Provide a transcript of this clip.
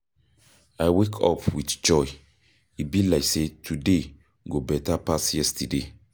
I wake up with joy, e be like sey today go beta pass yesterday.